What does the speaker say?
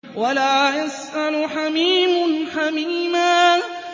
وَلَا يَسْأَلُ حَمِيمٌ حَمِيمًا